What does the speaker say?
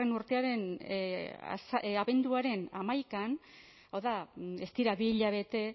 urtearen abenduaren hamaikan hau da ez dira bi hilabete